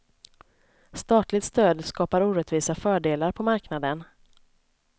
Statligt stöd skapar orättvisa fördelar på marknaden.